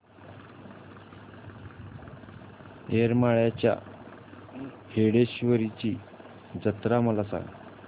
येरमाळ्याच्या येडेश्वरीची जत्रा मला सांग